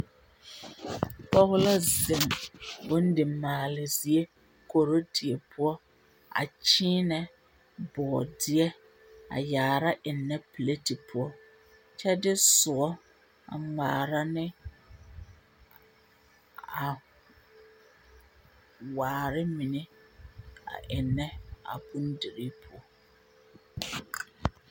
pɔge la zeŋ bomdi maale zie korodie poɔ a kyẽẽnɛ bɔɔdeɛ a yaara ennɛ pileti poɔ. kyɛ de soɔ a ŋmaara ne a … waare mine a ennɛ a bomdirii poɔ